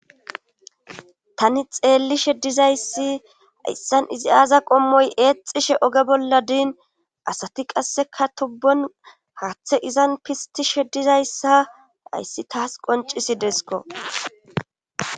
tani xeellishe dizayssi hayssan izi aaza qommoy eexishe oge bolla din asati qasseka tobban haatte izan pisttishe dizayssa hayssi taas qonccisideskko.